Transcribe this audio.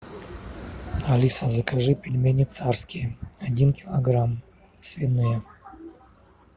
алиса закажи пельмени царские один килограмм свиные